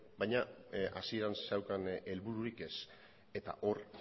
baina hasieran zeukan helbururik ez eta hor